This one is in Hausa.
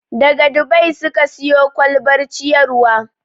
Daga Dubai suka siyo kwalbar ciyarwa.